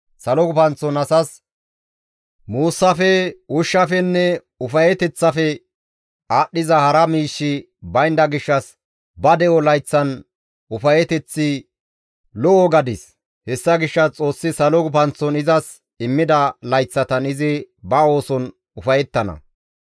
Salo gufanththon asas muussafe, ushshafenne ufayeteththafe aadhdhiza hara miishshi baynda gishshas ba de7o layththan ufayeteththi lo7o gadis; hessa gishshas Xoossi salo gufanththon izas immida layththatan izi ba ooson ufayettana.